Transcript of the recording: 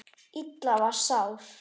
Lilla var sár.